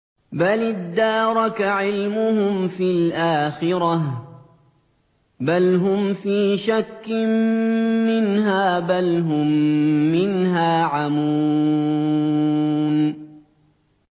بَلِ ادَّارَكَ عِلْمُهُمْ فِي الْآخِرَةِ ۚ بَلْ هُمْ فِي شَكٍّ مِّنْهَا ۖ بَلْ هُم مِّنْهَا عَمُونَ